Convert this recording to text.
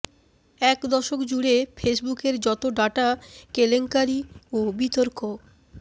এক দশক জুড়ে ফেসবুকের যত ডাটা কেলেঙ্কারি ও বিতর্ক